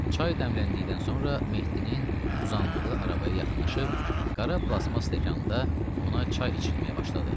Çay dəmləndikdən sonra Mehdinin uzandığı arabaya yaxınlaşıb qara plastmas stəkanda ona çay içitməyə başladı.